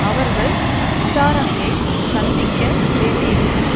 அவர்கள் விசாரணையை சந்திக்க வேண்டியிருக்கும்